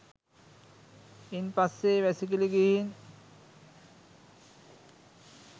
ඉන් පස්සේ වැසිකිලි ගිහින්